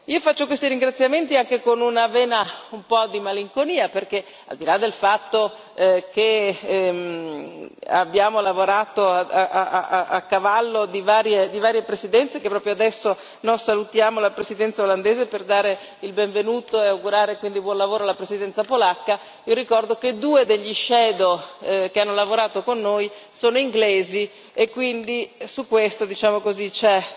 Io faccio questi ringraziamenti anche con una vena un po' malinconica perché, al di là del fatto che abbiamo lavorato a cavallo di varie presidenze che proprio adesso noi salutiamo la Presidenza olandese per dare il benvenuto e augurare quindi buon lavoro alla Presidenza polacca vi ricordo che due dei relatori ombra che hanno lavorato con noi sono inglesi e quindi su questo, diciamo così, c'è